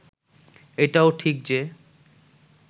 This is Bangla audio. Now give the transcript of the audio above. এটাও ঠিক যে